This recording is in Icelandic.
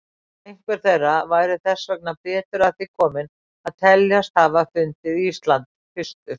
Einhver þeirra væri þess vegna betur að því kominn að teljast hafa fundið Ísland fyrstur.